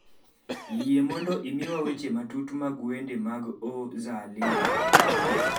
yie mondo imiya weche matut mag wende mag o. zaalima